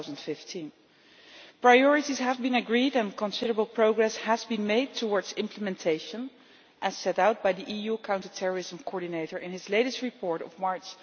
2015. Priorities have been agreed and considerable progress has been made towards implementation, as set out by the EU Counter Terrorism Coordinator in his latest report of March